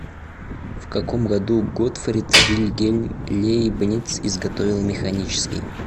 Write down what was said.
в каком году готфрид вильгельм лейбниц изготовил механический